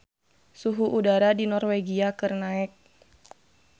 Suhu udara di Norwegia keur naek